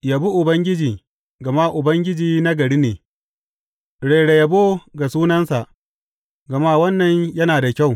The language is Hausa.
Yabi Ubangiji, gama Ubangiji nagari ne; rera yabo ga sunansa, gama wannan yana da kyau.